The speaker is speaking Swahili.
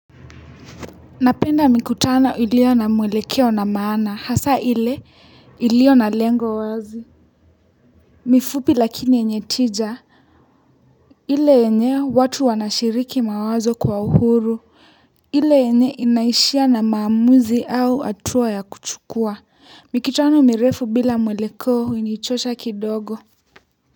Napenda mikutano ilio na mwelekeo na maana hasa ile ilio na lengo wazi ni fupi lakini yenye tija ile enye watu wanashiriki mawazo kwa uhuru ile enye inaishia na maamuzi au hatuwa ya kuchukua mikutano mirefu bila mwelekeo hunichosha kidogo.